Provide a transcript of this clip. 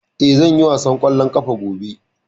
Eh, zan yi wasan kwallon kafa gobe.